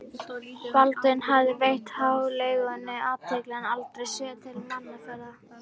Baldvin hafði veitt hjáleigunni athygli en aldrei séð til mannaferða.